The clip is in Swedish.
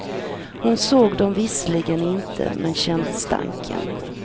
Hon såg dem visserligen inte men kände stanken.